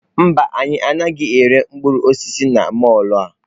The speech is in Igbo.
Mba, anyị anaghị ere mkpụrụ osisi na mọlụ a.